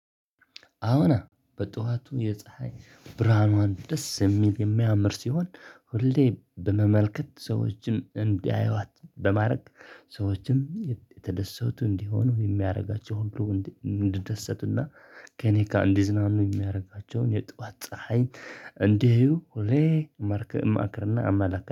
አዋና በጧቱ የፀሀይ ብርሃኗን ደስ የሚል የሚያምር ሲሆን ሁሌ በመመልከት ሰዎችን እንዲያዩዋት በማድረግ ሰዎችንም የተደሰቱ እንዲሆኑ የሚያደርጋቸው ብሎ እንዲደሰትና ከእኔ እንዲዝናኑ የሚያደርጋቸውን የጧት ፀሀይ እንዲህው ሆሌ መርክ እማክርና አመለካከት